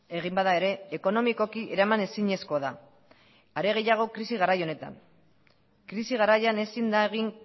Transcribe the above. egin bada ere ekonomikoki eraman ezinezkoa da are gehiago krisi garai honetan krisi garaian ezin da egin